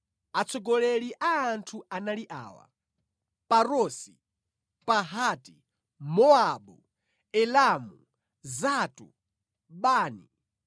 Atsogoleri a anthu anali awa: Parosi, Pahati-Mowabu, Elamu, Zatu, Bani,